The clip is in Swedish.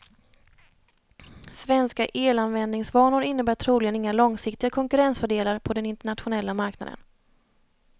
Svenska elanvändningsvanor innebär troligen inga långsiktiga konkurrensfördelar på den internationella marknaden.